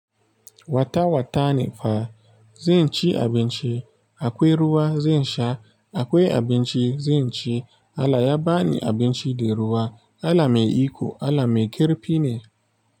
Wata watani fa zan ci abinci, akwai ruwa zan sha, akwai abinci zan ci. Allah ya ba ni abinci da ruwa. Allah mai iko, Allah mai ƙarfi ne.